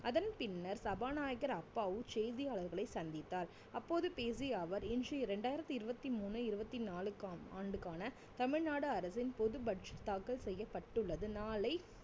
அதன் பின்னர் சபாநாயகர் அப்பாவு செய்தியாளர்களை சந்தித்தார் அப்போது பேசிய அவர் இன்றைய ரெண்டாயிரத்தி இருவத்தி மூணு இருவத்தி நாலுக்கா~ ஆண்டுக்கான தமிழ்நாடு அரசின் பொது budget தாக்கல் செய்யப்பட்டுள்ளது நாளை